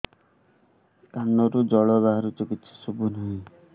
କାନରୁ ଜଳ ବାହାରୁଛି କିଛି ଶୁଭୁ ନାହିଁ